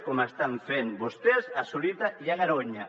com estan fent vostès a zorita i a garoña